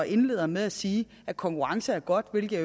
indleder med at sige at konkurrence er godt hvilket